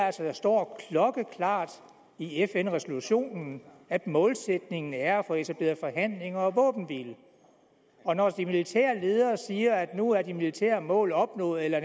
at der står klokkeklart i fn resolutionen at målsætningen er at få etableret forhandlinger og våbenhvile og når de militære ledere siger at nu er de militære mål opnået eller